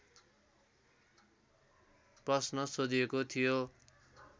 प्रश्न सोधिएको थियो